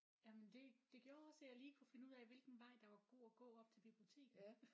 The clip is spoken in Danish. Jamen det det gjorde også at jeg lige kunne finde ud af hvilken vej der var god at gå op til biblioteket